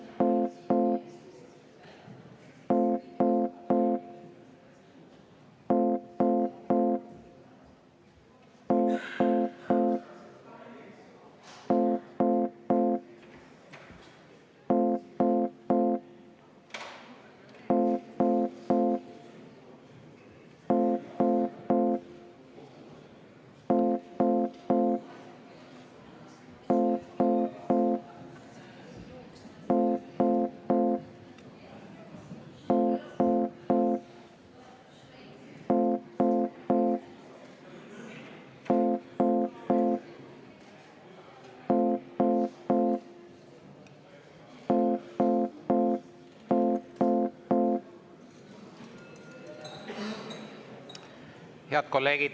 Head kolleegid!